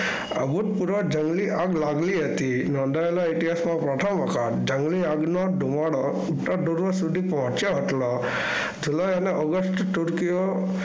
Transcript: ભૂતપૂર્વ જંગલી આગ લાગેલી હતી. નોંધાયેલા ઇતિહાસમાં પ્રથમ વખત જંગલી આગનો ધુવાળો ઉત્તર સુધી પહોંચ્યો હતો. ઓગસ્ટ તુરકીઓ